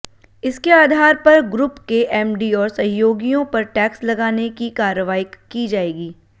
इसके आधार पर ग्रुप के एमडी और सहयोगियों पर टैक्स लगाने की कार्रवाई की जाएगी